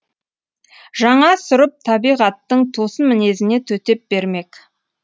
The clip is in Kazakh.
жаңа сұрып табиғаттың тосын мінезіне төтеп бермек